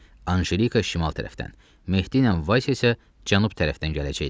Anjelika şimal tərəfdən, Mehdi ilə Vasya isə cənub tərəfdən gələcəkdilər.